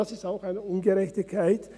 Das ist auch eine Ungerechtigkeit.